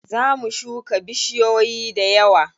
Za mu shuka bishiyoyi dayawa.